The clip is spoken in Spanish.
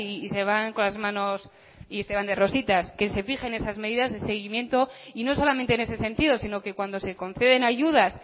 y se van con las manos y se dan de rositas que se fijen esas medidas de seguimiento y no solamente en ese sentido sino que cuando se conceden ayudas